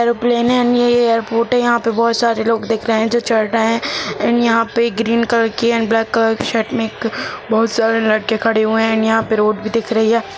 Airplane है airport है यहां पर बहुत सारे लोग दिख रहे हैं जो चढ़ रहे हैं एंड यहां पे ग्रीन कलर की और ब्लैक कलर की शर्ट में एक बहुत सारे लड़के खड़े हुए हैं और यहां पर रोड भी दिख रही है ।